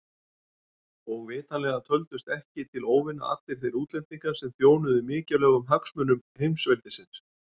Og vitanlega töldust ekki til óvina allir þeir útlendingar sem þjónuðu mikilvægum hagsmunum heimsveldisins.